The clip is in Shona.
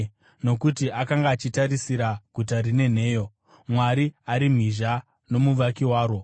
Nokuti akanga achitarisira guta rine nheyo, Mwari ari mhizha nomuvaki waro.